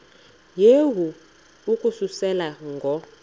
yehu ukususela ngo